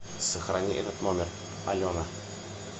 сохрани этот номер алена